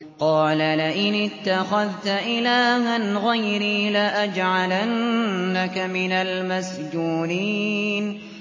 قَالَ لَئِنِ اتَّخَذْتَ إِلَٰهًا غَيْرِي لَأَجْعَلَنَّكَ مِنَ الْمَسْجُونِينَ